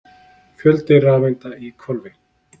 Fjöldi rafeinda í hvolfi.